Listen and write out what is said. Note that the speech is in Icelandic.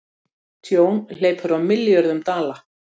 Tjón hleypur á milljörðum dala